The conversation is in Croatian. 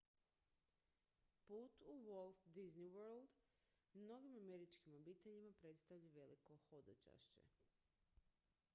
put u walt disney world mnogim američkim obiteljima predstavlja veliko hodočašće